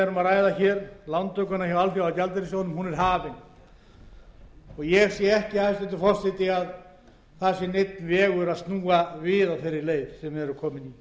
ræðum lántakan hjá alþjóðagjaldeyrissjóðnum er hafin og ég sé ekki hæstvirtur forseti að neinn vegur sé að snúa við á þeirri leið sem við erum komin á